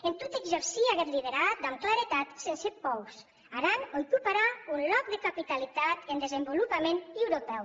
en tot exercir aguest liderat damb claretat sense pòurs aran aucuparà un lòc de capitalitat en desvolopament europèu